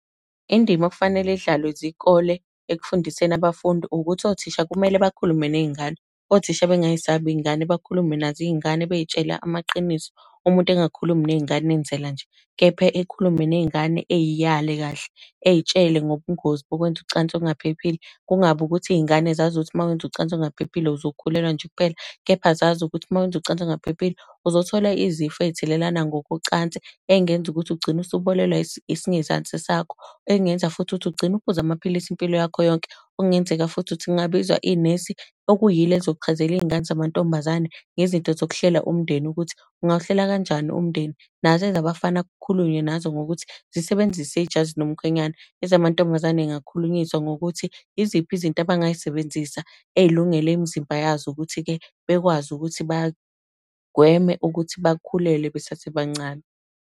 Indima okufanele idlalwe zikole ekufundiseni abafundi, ukuthi othisha kumele bakhulume ney'ngane. Othisha bengay'sabi iy'ngane, bakhulume nazo iy'ngane, bey'tshela amaqiniso. Umuntu engakhulumi ney'ngane enzela nje, kepha ekhulume ney'ngane ey'yale kahle, ey'tshele ngobungozi bokwenza ucansi olungaphephile. Kungabi ukuthi iy'ngane zazi ukuthi uma wenza ucansi olungaphephile, uzokhulelwa nje kuphela, kepha zazi ukuthi uma wenza ucansi olungaphephile, uzothola izifo ey'thelelana ngokocansi, ey'ngenza ukuthi ugcine usuboshwa isingezansi sakho. Ey'ngenza futhi ukuthi ugcine uphuza amaphilisi impilo yakho yonke. Okungenzeka futhi ukuthi kungabizwa inesi, okuyilo elizochazela iy'ngane zamantombazane ngezinto zokuhlela umndeni ukuthi ungawuhlela kanjani umndeni. Nazo ezabafana kukhulunywe nazo ngokuthi zisebenzise ijazi lomkhwenyana. Ezamantombazane yingakhulunyiswa ngokuthi, iziphi izinto abangay'sebenzisa, ey'lungele imizimba yazo ukuthi-ke, bekwazi ukuthi bagweme ukuthi bakhulelwe besasebancane.